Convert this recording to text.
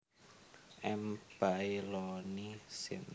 M baillonii syn